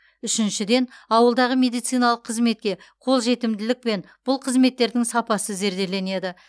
үшіншіден ауылдағы медициналық қызметке қолжетімділік пен бұл қызметтердің сапасы зерделенеді